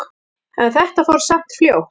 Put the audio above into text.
En þetta fór samt fljótt.